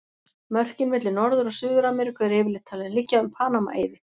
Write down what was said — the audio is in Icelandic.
Mörkin milli Norður- og Suður-Ameríku eru yfirleitt talin liggja um Panama-eiði.